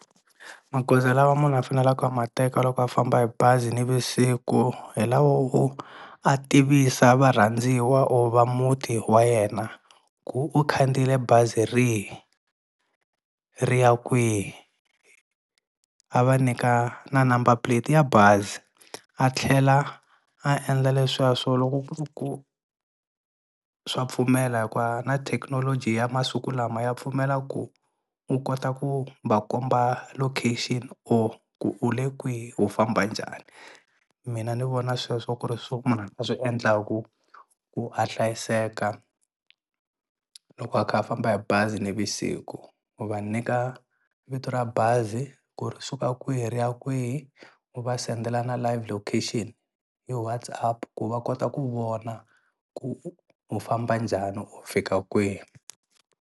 Magoza lawa munhu a faneleka a ma teka loko a famba hi bazi nivusiku hi lawa wo a tivisa varhandziwa or va muti wa yena ku u khandziyile bazi rihi ri ya kwihi a va nyika na number plate ya bazi a tlhela a endla leswiya swo loko ku ri ku swa pfumela hikuva na thekinoloji ya masiku lama ya pfumela ku u kota ku va komba location or ku u le kwihi u famba njhani mina ni vona sweswo ku ri swo munhu a nga swi endlaka ku a hlayiseka loko a kha a famba hi bazi nivusiku u va nyika vito ra bazi ku ri suka kwihi ri ya kwihi u va sendela na live location hi WhatsApp ku va kota ku vona ku u famba njhani u fika kwihi.